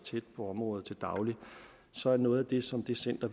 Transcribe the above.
tæt på området til daglig så er noget af det som det center